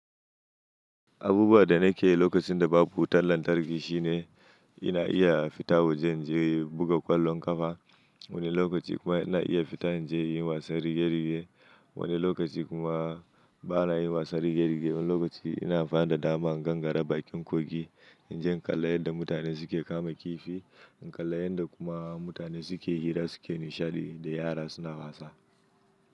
Abubuwa da na ke yi lokacin da babu wutar lantarki shine ina iya fita waje in je buga ƙwallon ƙafa. Wani lokaci kuma ina iya fita in je yin wasan rige-rige. Wani lokaci kuma ba na yin wasan rige-rige ba. Wani lokaci ina amfani da dama in gangara bakin kogi. In je in kalla yanda mutane suke kama kifi, in kalla yanda kuma mutane suke hira suke nishaɗi da yara suna wasa.